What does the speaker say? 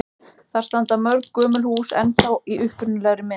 Þar standa mörg gömul hús ennþá í upprunalegri mynd.